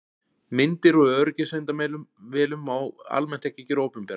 Myndir úr öryggismyndavélum má almennt ekki gera opinberar.